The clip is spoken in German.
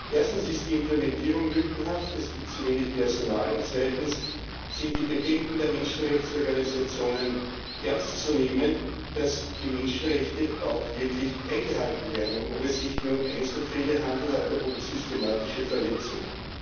Erstens ist die Implementierung lückenhaft es gibt zu wenig Personal und zweitens sind die Bedenken der Menschenrechtsorganisationen ernst zu nehmen, ob die Menschenrechte auch wirklich eingehalten werden und ob es sich nur um Einzelfälle handelt oder um systematische Verletzungen.